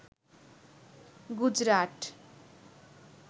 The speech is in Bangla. গুজরাট